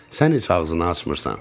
Sən heç ağzını açmırsan.